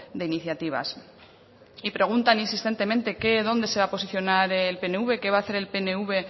de iniciativas y preguntan insistentemente qué dónde se van a posicionar el pnv qué va a hacer el pnv